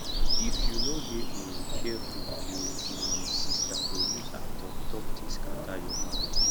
if you no dey um careful you um sista go use her talk talk take scatter your marriage